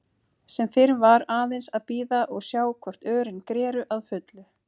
Sem fyrr var aðeins að bíða og sjá hvort örin greru að fullu.